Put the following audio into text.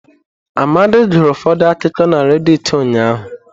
Amadi gụrụ ụfọdụ akụkọ na redịtị ụnyahụ.